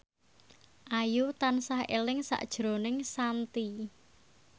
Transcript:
Ayu tansah eling sakjroning Shanti